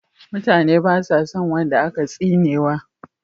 Mutane basa son wanda aka tsinewa